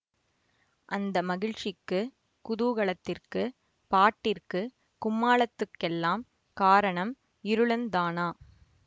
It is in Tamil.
அந்த மகிழ்ச்சிக்கு குதூகலத்திற்கு பாட்டிற்கு கும்மாளத்துக்கெல்லாம் காரணம் இருளன்தானா